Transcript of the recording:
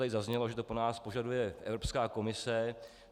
Tady zaznělo, že to po nás požaduje Evropská komise.